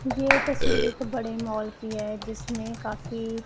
ये तस्वीर को बड़े मॉल की है जिसमें काफी--